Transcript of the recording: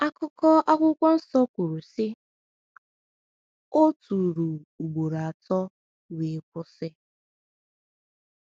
Akụkọ Akwụkwọ Nsọ kwuru sị: “O tụrụ ugboro atọ wee kwụsị.